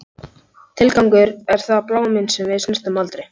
Tilgangur, er það bláminn sem við snertum aldrei?